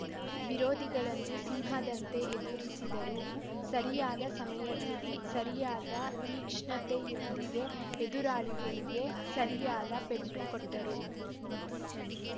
ವಿರೋಧಿಗಳನ್ನು ಸಿಂಹದಂತೆ ಎದುರಿಸಿದರು ಸರಿಯಾದ ಸಮಯದಲ್ಲಿ ಸರಿಯಾದ ತೀಕ್ಷಣತೆಯೊಂದಿಗೆ ಎದುರಾಳಿಗಳಿಗೆ ಸರಿಯಾದ ಪೆಟ್ಟು ಕೊಟ್ಟರು